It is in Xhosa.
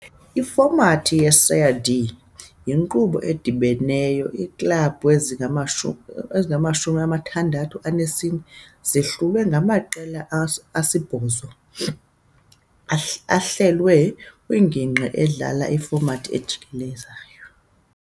Ifomathi ye-Série D yinkqubo edibeneyo- iiklabhu ze-64 zihlulwe ngamaqela asibhozo ahlelwe kwingingqi, edlala kwifomathi ejikelezayo.